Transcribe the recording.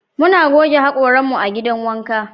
Muna goge hakoran mu a'gidan wanka.